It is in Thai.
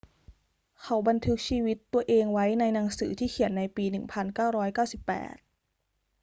เขาบันทึกชีวิตตัวเองไว้ในหนังสือที่เขียนในปี 1998